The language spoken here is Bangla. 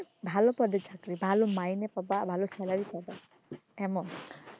ভালো পদে চাকরি ভালো মাইনে পাবা ভালো salary পাবা এমন,